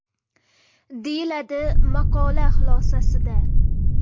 deyiladi maqola xulosasida.